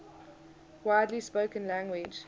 widely spoken language